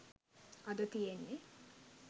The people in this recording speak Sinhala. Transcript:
අද තියෙන්නේ